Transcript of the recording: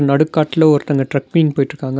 நடு காட்ல ஒருத்தங்க ட்ரெக்கிங் போய்ட்ருக்காங்க.